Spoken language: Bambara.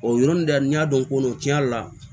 O yɔrɔnin de n'i y'a dɔn ko tiɲɛ yɛrɛ la